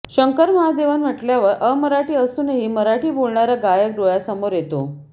शंकर महादेवन म्हणल्यावर अमराठी असूनही मराठी बोलणारा गायक डोळ्यासमोर येतो